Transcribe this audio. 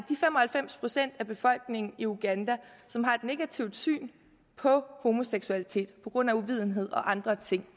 fem og halvfems procent af befolkningen i uganda som har et negativt syn på homoseksualitet på grund af uvidenhed og andre ting